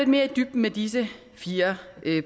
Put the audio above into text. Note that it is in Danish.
mere i dybden med disse fire